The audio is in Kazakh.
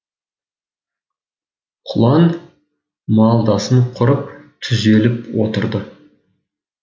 құлан малдасын құрып түзеліп отырды